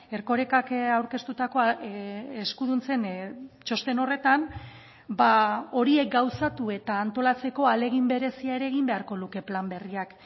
erkorekak aurkeztutako eskuduntzen txosten horretan horiek gauzatu eta antolatzeko ahalegin berezia ere egin beharko luke plan berriak